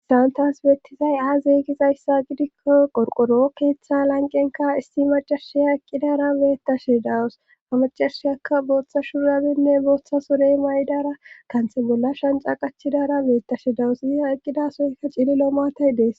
Hasan tas beettizay aa zeeygizayssa gidikko qorqoro keeththa lanqenka issi macarshiya eqqidara beettashe dawusamacarshiyakka booththa shurabinne booththa sure may7dara kanthe bolla shanca qachidara beettashe dawusya eqqida soykka cililo maatay dees